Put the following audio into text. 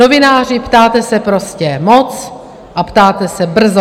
Novináři, ptáte se prostě moc a ptáte se brzo.